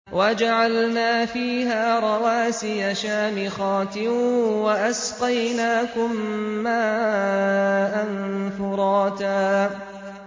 وَجَعَلْنَا فِيهَا رَوَاسِيَ شَامِخَاتٍ وَأَسْقَيْنَاكُم مَّاءً فُرَاتًا